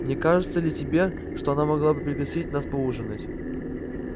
не кажется ли тебе что она могла бы пригласить нас поужинать